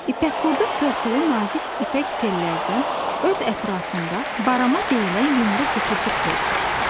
İpək qurdu tırtılı nazik ipək tellərdən öz ətrafında barama deyilən yumru qutucuq hörür.